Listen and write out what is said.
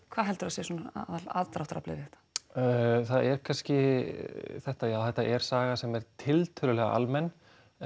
hvað heldurðu að sé svona aðalaðdráttaraflið við þetta það er kannski þetta já þetta er saga sem er tiltölulega almenn